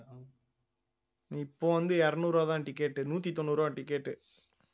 இப்போ வந்து இருநூறு ரூபாய்தான் ticket உ நூத்தி தொண்ணூறு ரூபாய் ticket உ